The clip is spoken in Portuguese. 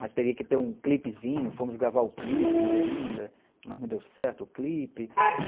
Mas teria que ter um clipezinho, fomos gravar o clipe ainda, mas não deu certo o clipe.